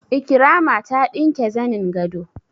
Ikirama ta ɗinke zanin gado